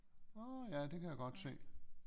Nårh ja det kan jeg godt se